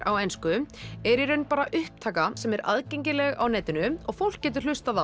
á ensku er í raun bara upptaka sem er aðgengileg á netinu og fólk getur hlustað